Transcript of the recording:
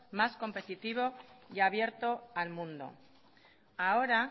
más competitivo y abierto al mundo ahora